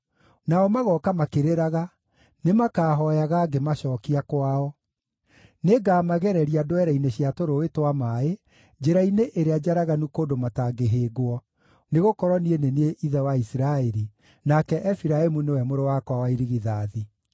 Nao magooka makĩrĩraga; nĩmakahooyaga ngĩmacookia kwao. Nĩngamagereria ndwere-inĩ cia tũrũũĩ twa maaĩ, njĩra-inĩ ĩrĩa njaraganu kũndũ matangĩhĩngwo, nĩgũkorwo niĩ nĩ niĩ ithe wa Isiraeli, nake Efiraimu nĩwe mũrũ wakwa wa irigithathi.